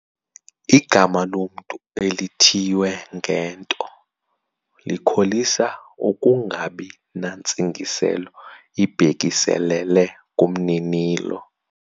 Igama lomntu elithiywe ngento likholisa ukungabi nantsingiselo ibhekiselele kumninilo.